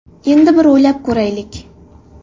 Endi bir o‘ylab ko‘raylik.